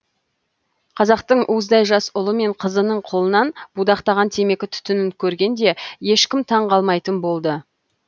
қазақтың уыздай жас ұлы мен қызының қолынан будақтаған темекі түтінін көргенде ешкім таң қалмайтын болды